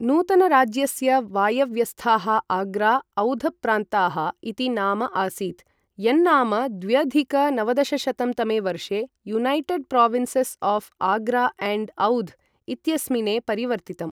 नूतनराज्यस्य वायव्यस्थाः आग्रा औध प्रान्ताः इति नाम आसीत्, यन्नाम द्व्यधिक नवदशशतं तमे वर्षे United Provinces of Agra and Oudh इत्यस्मिने परिवर्तितम्।